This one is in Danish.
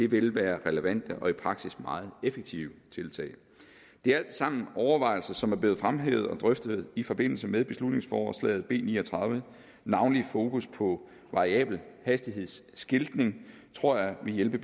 vil være relevante og i praksis meget effektive tiltag det er alt sammen overvejelser som er blevet fremhævet og drøftet i forbindelse med beslutningsforslag b ni og tredive navnlig fokus på variabel hastigheds skiltning tror jeg vil hjælpe